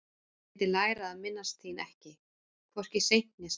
Ég vildi læra að minnast þín ekki, hvorki seint né snemma.